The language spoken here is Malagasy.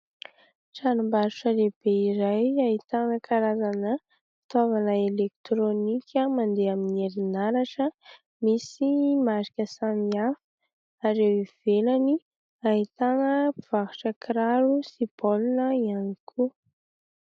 Tranombarotra lehibe iray ahitana karazana fitaovana elektronika mandeha amin'ny herinaratra misy marika samihafa. Ary eo ivelany ahitana mpivarotra kiraro sy baolina ihany koa.